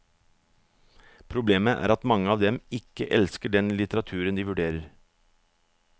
Problemet er at mange av dem ikke elsker den litteraturen de vurderer.